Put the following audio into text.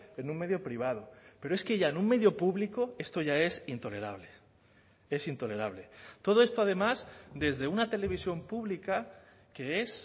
en un medio privado pero es que ya en un medio público esto ya es intolerable es intolerable todo esto además desde una televisión pública que es